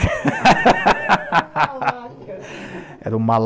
era o...